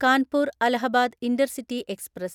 Kanpur Allahabad intercity express